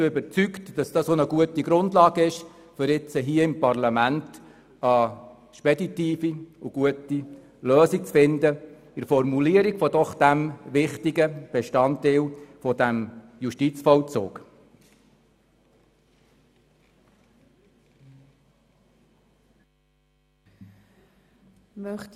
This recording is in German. Ich bin überzeugt, dass dies eine gute Grundlage ist, um jetzt hier im Parlament eine speditive und gute Lösung für die Formulierung dieses doch wichtigen Bestandteils des Justizvollzugs zu finden.